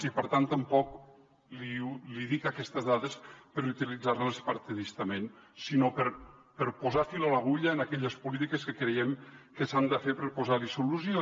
i per tant tampoc li dic aquestes dades per utilitzar les partidistament sinó per posar fil a l’agulla en aquelles polítiques que creiem que s’han de fer per posar hi solució